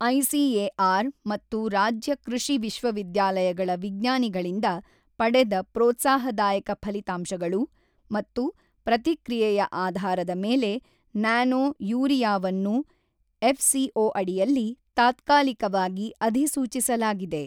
ICAR ಮತ್ತು ರಾಜ್ಯ ಕೃಷಿ ವಿಶ್ವವಿದ್ಯಾಲಯಗಳ ವಿಜ್ಞಾನಿಗಳಿಂದ ಪಡೆದ ಪ್ರೋತ್ಸಾಹದಾಯಕ ಫಲಿತಾಂಶಗಳು ಮತ್ತು ಪ್ರತಿಕ್ರಿಯೆಯ ಆಧಾರದ ಮೇಲೆ ನ್ಯಾನೊ ಯೂರಿಯಾವನ್ನು ಎಫ್ಸಿಒ ಅಡಿಯಲ್ಲಿ ತಾತ್ಕಾಲಿಕವಾಗಿ ಅಧಿಸೂಚಿಸಲಾಗಿದೆ.